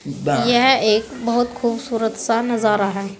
यह एक बहुत खूबसूरत सा नजरा है।